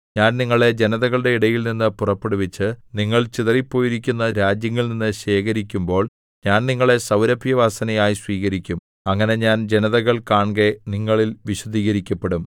ഞാൻ നിങ്ങളെ ജനതകളുടെ ഇടയിൽനിന്ന് പുറപ്പെടുവിച്ച് നിങ്ങൾ ചിതറിപ്പോയിരിക്കുന്ന രാജ്യങ്ങളിൽനിന്നു ശേഖരിക്കുമ്പോൾ ഞാൻ നിങ്ങളെ സൗരഭ്യവാസനയായി സ്വീകരിക്കും അങ്ങനെ ഞാൻ ജനതകൾ കാൺകെ നിങ്ങളിൽ വിശുദ്ധീകരിക്കപ്പെടും